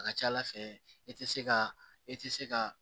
A ka ca ala fɛ i tɛ se ka e tɛ se ka